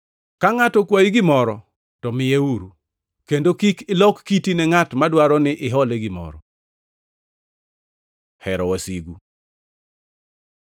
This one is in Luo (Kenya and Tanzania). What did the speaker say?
Ka ngʼato okwayi gimoro to miyeuru, kendo kik ilok kiti ne ngʼat madwaro ni ihole gimoro. Hero wasigu